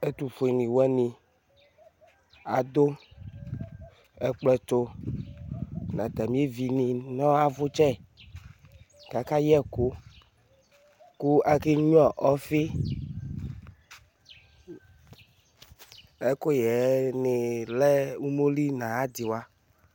ɛtufueluwani adu ekplɔtu nu atamievini nu avutsɛ kakayɛeku ku akenyua ɔfi ɛkuyɛni lɛ umoli nu ayadiwa